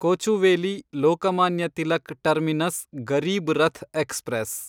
Kochuveli Lokmanya Tilak terminus Garib Rath express